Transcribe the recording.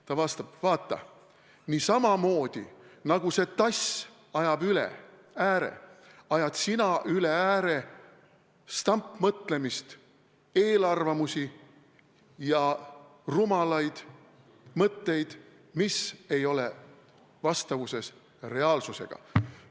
Ta vastab, et vaata, samamoodi nagu see tass ajab üle ääre, ajad sina üle ääre stampmõtlemist, eelarvamusi ja rumalaid mõtteid, mis ei ole vastavuses reaalsusega.